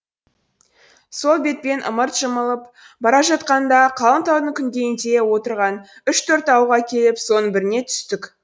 сол бетпен ымырт бара жатқанда қалың таудың күнгейінде отырған үш төрт ауылға келіп соның біріне түстік